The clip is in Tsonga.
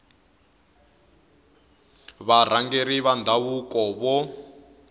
va varhangeri va ndhavuko vo